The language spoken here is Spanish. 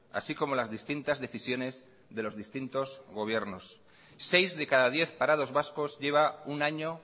así como las distintas decisiones de los distintos gobiernos seis de cada diez parados vascos lleva un año